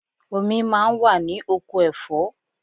Omi máa ń wà ní oko ẹ̀fọ́.